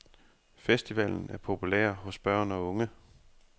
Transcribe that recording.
Festivalen er populær hos børn og unge.